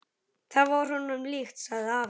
Það var honum líkt, sagði afi.